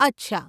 અચ્છા.